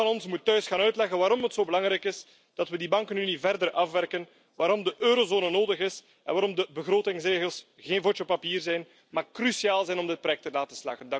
Ieder van ons moet thuis gaan uitleggen waarom het zo belangrijk is dat we die bankenunie verder afwerken, waarom de eurozone nodig is en waarom de begrotingsregels geen vodje papier zijn, maar cruciaal zijn om dit project te laten slagen.